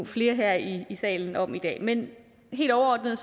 flere her i salen om i dag men helt overordnet